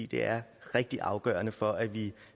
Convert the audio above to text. det er rigtig afgørende for at vi